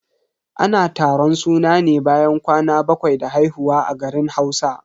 Ana taron suna ne bayan kwana bakwai da haihuwa a garin Hausa.